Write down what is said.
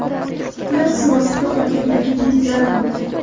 ular suv ostida qolgan yoki jiddiy zarar ko‘rgan.